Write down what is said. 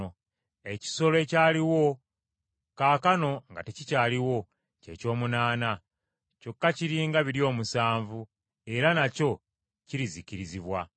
Ekisolo ekyaliwo, kaakano nga tekikyaliwo, ky’eky’omunaana, kyokka kiri nga biri omusanvu; era nakyo kirizikirizibwa.